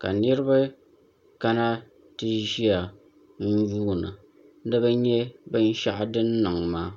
ka niraba kana ti ʒiya n yuunda ni bi nyɛ binshaɣu din niŋ maa